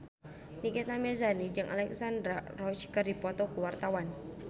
Nikita Mirzani jeung Alexandra Roach keur dipoto ku wartawan